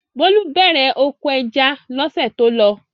Bólú bẹ̀rẹ̀ oko ẹja lọ́sẹ̀ tó lọ.